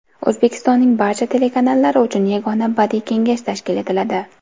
O‘zbekistonning barcha telekanallari uchun yagona badiiy kengash tashkil etiladi.